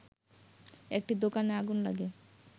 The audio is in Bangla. একটি দোকানে আগুন লাগে